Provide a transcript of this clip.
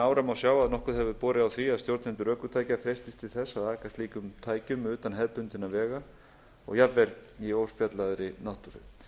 ára má sjá að nokkuð hefur borið á því að stjórnendur ökutækja freistist til þess að aka slíkum tækjum utan hefðbundinna vega og jafnvel í óspjallaðri náttúru